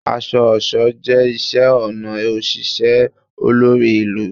Aṣọ-ọṣọ jẹ iṣẹ-ọnà oṣiṣẹ olori ilu